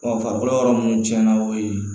farikolo yɔrɔ mun tiɲɛna o ye